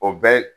O bɛ